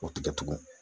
O tigɛ tugun